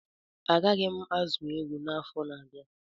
Agaghị m azụ ewu na afọ na abịa